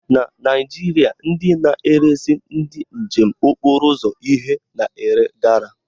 Na Naijiria, ndị na-eresi ndị njem okporo ụzọ ihe na-ere gala